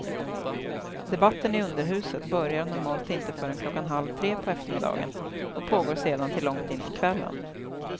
Debatten i underhuset börjar normalt inte förrän klockan halv tre på eftermiddagen och pågår sedan till långt in på kvällen.